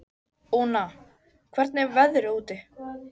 Úna, hvernig er veðrið úti?